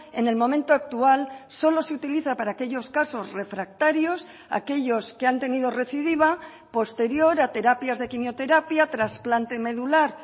en el momento actual solo se utiliza para aquellos casos refractarios aquellos que han tenido recidiva posterior a terapias de quimioterapia trasplante medular